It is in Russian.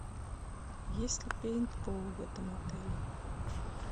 есть ли пейнтбол в этом отеле